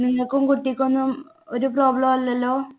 നിങ്ങക്കും കുട്ടിക്കും ഒന്നും ഒരു problem ഇല്ലല്ലോ?